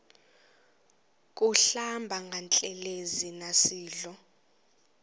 kuhlamba ngantelezi nasidlo